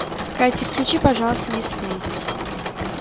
катя включи пожалуйста дисней